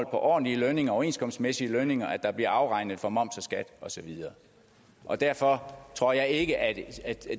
ordentlige lønninger overenskomstmæssige lønninger og at der bliver afregnet for moms skat og så videre og derfor tror jeg ikke at